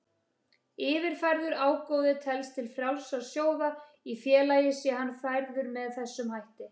Yfirfærður ágóði telst til frjálsra sjóða í félagi sé hann færður með þessum hætti.